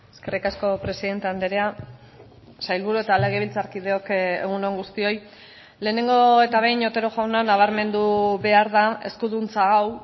eskerrik asko presidente andrea sailburu eta legebiltzarkideok egun on guztioi lehenengo eta behin otero jauna nabarmendu behar da eskuduntza hau